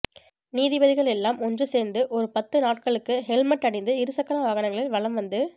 நீதிபதிகள் எல்லாம் ஒன்று சேர்ந்து ஒரு பத்து நாட்களுக்கு ஹெல்மெட் அணிந்து இருசக்கர வாகனங்களில் வலம் வந்து